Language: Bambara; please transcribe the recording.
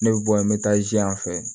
Ne bɛ bɔ yan n bɛ taa ziyan fɛ